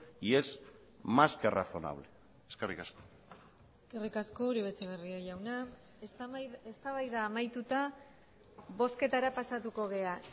y es más que razonable eskerrik asko eskerrik asko uribe etxebarria jauna eztabaida amaituta bozketara pasatuko gara